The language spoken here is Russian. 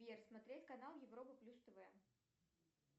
сбер смотреть канал европа плюс тв